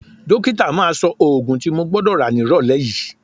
Dókítà máa sọ òògùn tí mo gbọ́dọ̀ rà nírọ̀lẹ́ yìí